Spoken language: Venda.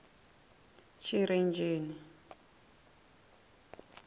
tshirenzheni